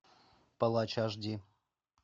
палач аш ди